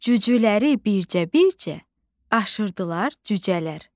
Cücələri bircə-bircə aşırdılar cücələr.